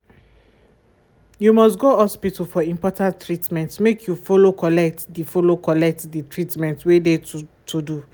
you must go hospital for important treatment make you follow collect de follow collect de treatmentt wey de to do.